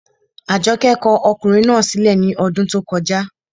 Àjọkẹ́ kọ ọkùnrin náà sí lẹ̀ ní ọdún tó kọjá